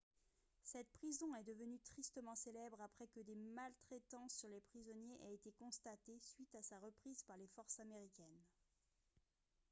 cette prison est devenue tristement célèbre après que des maltraitances sur les prisonniers aient été constatées suite à sa reprise par les forces américaines